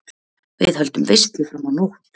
Við höldum veislu fram á nótt.